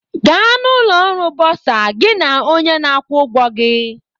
Gaa na ụlọ ọrụ Bursar gị na onye na-akwụ ụgwọ gị